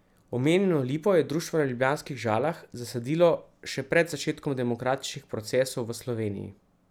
Omenjeno lipo je društvo na ljubljanskih Žalah zasadilo še pred začetkom demokratičnih procesov v Sloveniji.